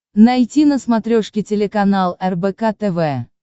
найти на смотрешке телеканал рбк тв